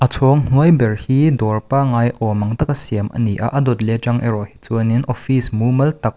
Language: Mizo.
a chhawng hnuai ber hi dawr pangai awm ang taka siam a ni a a dawt leh a tang erawh hi chuan in offfice mumal tak--